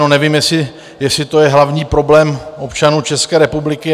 No nevím, jestli to je hlavní problém občanů České republiky.